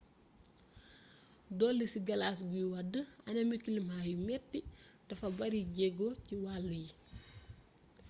dolli ci galas guy wàdd anami kilimaa yu metti dafa baare jeego wàllu yi